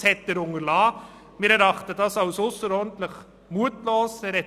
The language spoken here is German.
Er hat es unterlassen, dies darzulegen, was wir als ausserordentlich mutlos erachten.